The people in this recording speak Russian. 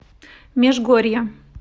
межгорье